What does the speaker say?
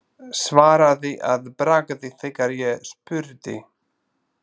Svaraði að bragði þegar ég spurði.